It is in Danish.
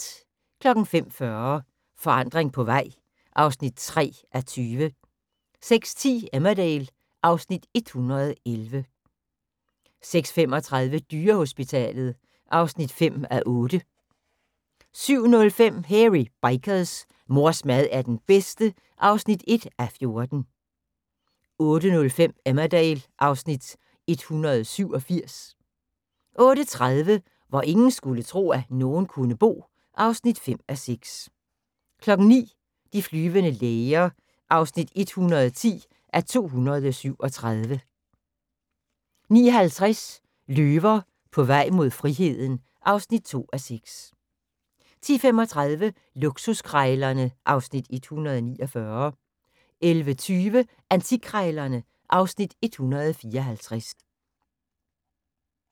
05:40: Forandring på vej (3:20) 06:10: Emmerdale (Afs. 111) 06:35: Dyrehospitalet (5:8) 07:05: Hairy Bikers: Mors mad er den bedste (1:14) 08:05: Emmerdale (Afs. 187) 08:30: Hvor ingen skulle tro, at nogen kunne bo (5:6) 09:00: De flyvende læger (110:237) 09:50: Løver på vej mod friheden (2:6) 10:35: Luksuskrejlerne (Afs. 149) 11:20: Antikkrejlerne (Afs. 154)